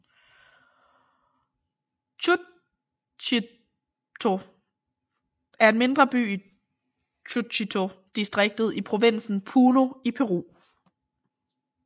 Chucuito er en mindre by i Chucuito distriktet i provinsen Puno i Peru